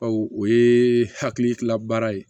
Baw o ye hakilikila baara ye